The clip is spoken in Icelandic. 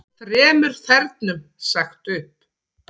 Þremur þernum sagt upp